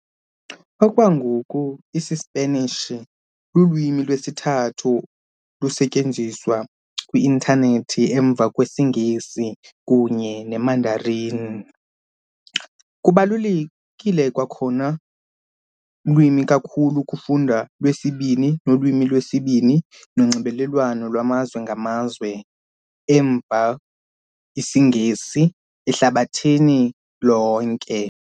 Okwangoku, isiSpanish ulwimi lwesithathu lusetyenziswa kwi Internet emva IsiNgesi kunye Mandarin. Kubalulekile kwakhona lwimi kakhulu kufundwa lwesibini nolwimi lwesibini nonxibelelwano lwamazwe ngamazwe, emva IsiNgesi, ehlabathini lonke.